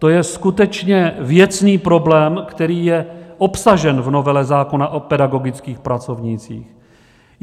To je skutečně věcný problém, který je obsažen v novele zákona o pedagogických pracovnících.